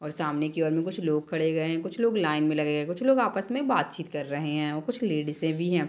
और सामने की ओर में कुछ लोग खड़े हुए है कुछ लोग लाइन में लगे हुए है कुछ लोग आपस में बातचीत कर रहे है और कुछ लेडीज भी है।